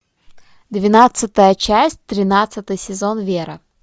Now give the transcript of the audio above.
двенадцатая часть тринадцатый сезон вера